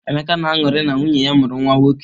Emeka na-aṅụrị na nwunye ya mụrụ nwa nwoke.